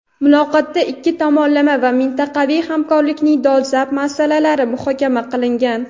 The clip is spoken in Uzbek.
muloqotda ikki tomonlama va mintaqaviy hamkorlikning dolzarb masalalari muhokama qilingan.